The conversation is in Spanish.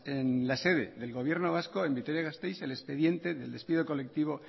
en la sede del gobierno vasco en vitoria gasteiz el expediente del despido colectivo